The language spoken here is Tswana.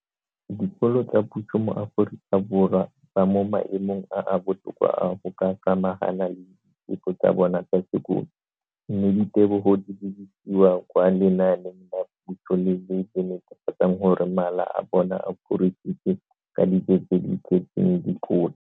Dikolo tsa puso mo Aforika Borwa ba mo maemong a a botoka a go ka samagana le ditiro tsa bona tsa sekolo, mme ditebogo di lebisiwa kwa lenaaneng la puso le le netefatsang gore mala a bona a kgorisitswe ka dijo tse di tletseng dikotla.